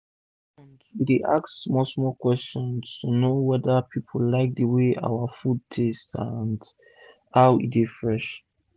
everi month wey dey ask small small question to know weda pipu like d way out food dey taste and how e dey fresh